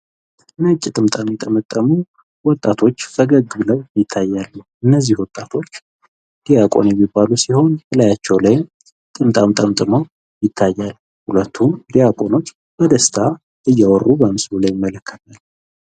ነጭ ጥምጣም የጠመጠሙ ወጣቶች ፈገግ ብለው ይታያሉ። እነዚህ ወጣቶች ዲያቆን በመባል የሚባሉ ሲሆን እላያቸው ላይም ጥምጣም ጠምጥመው ይታያል። ሁለቱም ዲያቆኖች በደስታ እያወሩ ቀምስሉ እንመለከታለን።